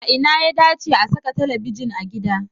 A ina ya dace a saka talabijin a gida?